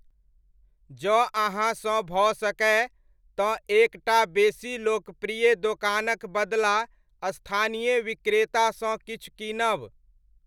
जँ अहाँसँ भऽ सकय, तँ एक टा बेसी लोकप्रिय दोकानक बदला स्थानीय विक्रेतासँ किछु कीनब।